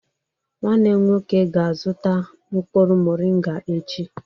Nwanne m nwoke ga-azuta mkpuru morịngà echi.